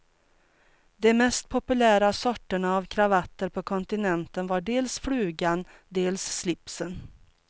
De mest populära sorterna av kravatter på kontinenten var dels flugan, dels slipsen.